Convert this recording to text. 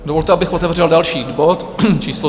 Dovolte, abych otevřel další bod číslo